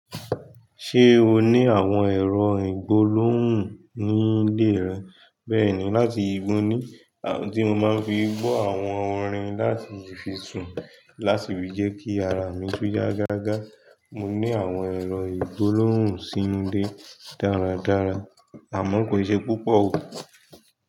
Ṣé o ní àwọn ẹ̀rọ ìgbólóhùn ní ilé rẹ? Bẹ́ẹ̀ni, láti ìbóni tí mo máa ń fi gbọ́ àwọn orin láti fi sùn láti fi jẹ́ kí ara mi tó yá gágá. Mo ní àwọn ẹ̀rọ ìgbólóhùn sí ilé dáradára, àmọ́ kò ṣe púpọ̀ o.